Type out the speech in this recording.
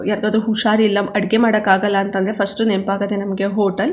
ಯಾರಗಾದ್ರು ಹುಷಾರಿಲ್ಲಾ ಅಡಿಗೆ ಮಾಡಕ್ಕಾಗಲ್ಲಾ ಅಂತ ಅಂದ್ರೆ ಫಸ್ಟ್ ನೆನಪಾಗೋದೆ ನಮ್ಮಗೆ ಹೋಟೆಲ್ .